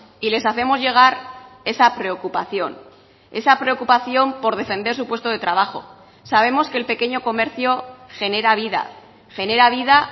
y les hacemos llegar esa preocupación esa preocupación por defender su puesto de trabajo sabemos que el pequeño comercio genera vida genera vida